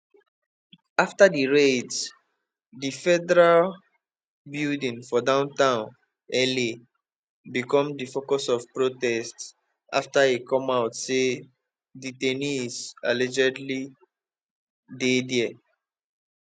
after di raids di federal di federal building for downtown la become di focus of protests after e come out say detainees allegedly dey dia